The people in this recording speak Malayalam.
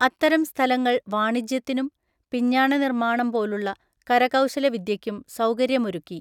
അത്തരം സ്ഥലങ്ങള്‍ വാണിജ്യത്തിനും (പിഞ്ഞാണനിര്‍മ്മാണം പോലുള്ള) കരകൗശല വിദ്യക്കും സൗകര്യമൊരുക്കി.